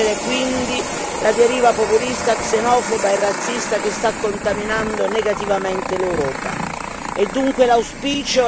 Un'occasione per sconfiggere quindi la deriva populista xenofoba e razzista che sta contaminando negativamente l'Europa.